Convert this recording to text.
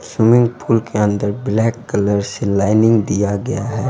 Swimming pool के अंदर black colour से लाइनिंग दिया गया है।